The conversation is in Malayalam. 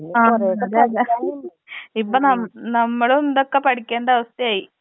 ആ നോട്ട്‌ ക്ലിയർ ഇപ്പ നം നമ്മളും ഇതൊക്കെ പഠിക്കേണ്ടവസ്ഥയായി.